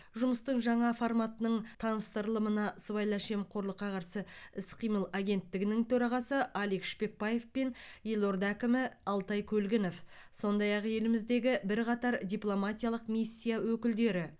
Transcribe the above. жұмыстың жаңа форматының таныстырылымына сыбайлас жемқорлыққа қарсы іс қимыл агенттігінің төрағасы алик шпекбаев пен елорда әкімі алтай көлгінов сондай ақ еліміздегі бірқатар дипломатиялық миссия өкілдері